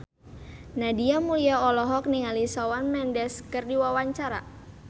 Nadia Mulya olohok ningali Shawn Mendes keur diwawancara